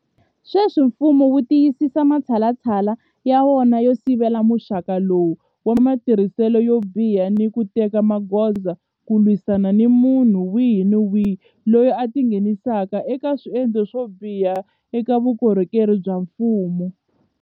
Sweswi mfumo wu tiyisisa matshalatshala ya wona yo sivela muxaka lowu wa matirhiselo yo biha ni ku teka magoza ku lwisana ni munhu wihi ni wihi loyi a tingheni saka eka swendlo swo biha eka vukorhokeri bya mfumo.